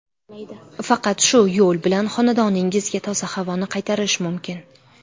Faqat shu yo‘l bilan xonadoningizga toza havoni qaytarish mumkin.